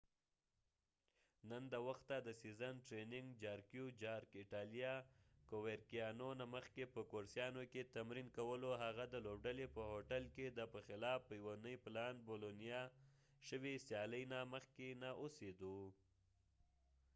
جارک jarque نن د وخته د سیزن د ټریننګ نه مخکې په کورسیانو coverciano ایټالیا کې تمرین کولو . هغه د لوبډلې په هوټل کې د بولونیا boloniaپه خلاف په یوه نی پلان شوي سیالۍ نه مخکې نه اوسیده